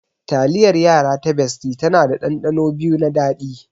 Taliyar yara ta bestie tana da ɗanɗano biyu na daɗi.